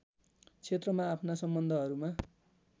क्षेत्रमा आफ्ना सम्बन्धहरूमा